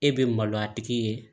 E bɛ maloya a tigi ye